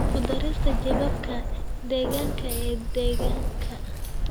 Ku darista jeebabka deegaanka ee deegaanka.